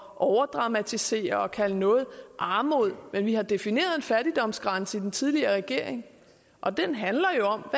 overdramatisere og kalde noget armod men vi har defineret en fattigdomsgrænse i den tidligere regering og den handler jo om